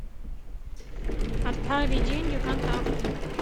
отправить деньги контакту